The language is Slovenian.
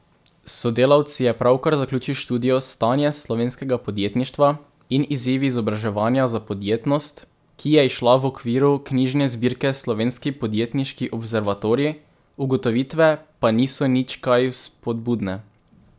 S sodelavci je pravkar zaključil študijo Stanje slovenskega podjetništva in izzivi izobraževanja za podjetnost, ki je izšla v okviru knjižne zbirke Slovenski podjetniški observatorij, ugotovitve pa niso nič kaj vzpodbudne.